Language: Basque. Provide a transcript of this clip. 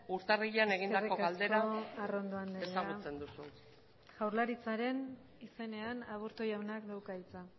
urtarrilean egindako galdera ezagutzen duzu eskerrik asko arrondo anderea jaurlaritzaren izenean aburto jaunak dauka hitza